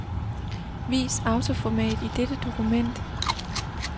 Vis autoformat i dette dokument.